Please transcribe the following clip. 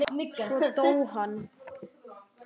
Svo dó hann.